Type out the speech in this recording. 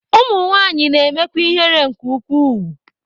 Ụmụ nwanyị na-emekwa ihere nke ukwuu.